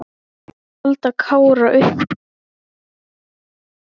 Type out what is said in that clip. Ég reyndi að halda Kára upp úr, sagði Óskar.